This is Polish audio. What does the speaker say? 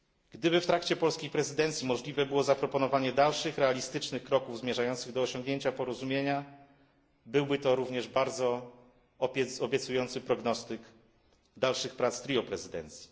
Gdyby w trakcie polskiej prezydencji możliwe było zaproponowanie dalszych realistycznych kroków zmierzających do osiągnięcia porozumienia, byłby to również bardzo obiecujący prognostyk dalszych prac trio prezydencji.